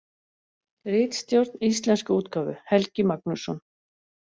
Ritstjórn íslensku útgáfu: Helgi Magnússon.